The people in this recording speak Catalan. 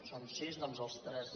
són sis doncs els tres